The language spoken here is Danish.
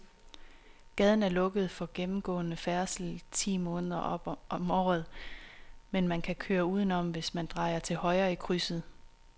Gaden er lukket for gennemgående færdsel ti måneder om året, men man kan køre udenom, hvis man drejer til højre i krydset.